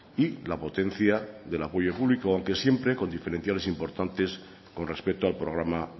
y la potencia del apoyo público aunque siempre con diferenciales importantes con respecto al programa